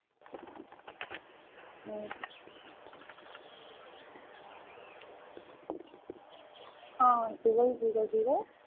um ah twelve zero zero